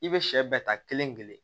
I bɛ sɛ bɛɛ ta kelen kelen